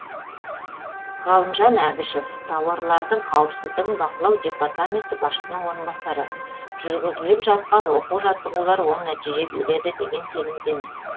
ғалымжан әбішов тауарлардың қауіпсіздігін бақылау департаменті басшысының орынбасары жүргізіліп жатқан оқу жаттығулар оң нәтиже береді деген сенімдеміз